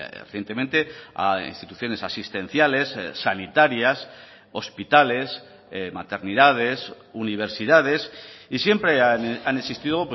recientemente a instituciones asistenciales sanitarias hospitales maternidades universidades y siempre han existido